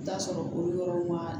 I bi t'a sɔrɔ bolo yɔrɔ ma